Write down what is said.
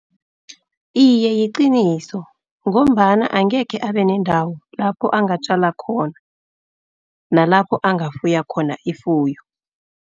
Iye, liqiniso ngombana angekhe abe nendawo lapho angatjala khona, nalapho angafuya khona ifuyo.